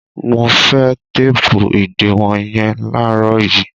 Mo fẹ́ téépù ìdiwọn yẹn láàárọ̀ yìí!